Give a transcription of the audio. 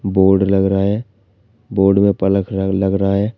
Board लग रहा हैं बोड में पलख लग रहा है।